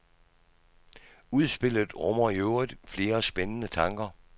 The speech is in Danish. Udspillet rummer i øvrigt flere spændende tanker.